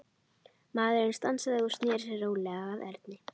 Maðurinn stansaði og sneri sér rólega að Erni.